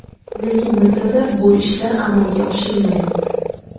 Lekin bilsa-da, bu ishlar amalga oshirilmayapti.